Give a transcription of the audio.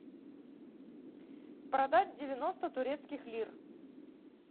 продать девяносто турецких лир